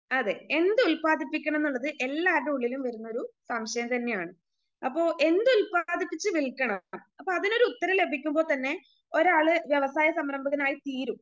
അതെ എന്തു ഉൽപ്പാദിപ്പിക്കണംന്നുള്ളത് എല്ലാർടെ ഉള്ളിലും വരുന്ന ഒരു സംശയം തന്നെയാണ്. അപ്പൊ എന്തു ഉൽപ്പാദിപ്പിച്ച് വിൽക്കണം അപ്പൊ അതിനൊരു ഉത്തരം ലഭിക്കുമ്പോൾ തന്നെ ഒരാള് വ്യവസായ സംരംഭകനായി തീരും.